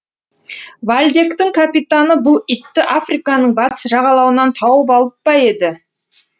вальдектің капитаны бұл итті африканың батыс жағалауынан тауып алып па еді